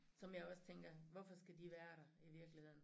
Som jeg også tænker hvorfor skal de være der i virkeligheden